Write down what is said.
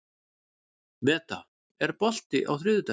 Meda, er bolti á þriðjudaginn?